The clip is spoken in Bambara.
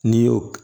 N'i y'o